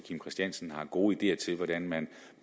kim christiansen har gode ideer til hvordan man